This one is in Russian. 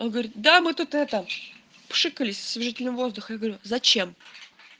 он говорит да мы тут это пшикались освежителем воздуха зачем